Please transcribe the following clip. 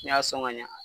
N'i y'a sɔn ka ɲa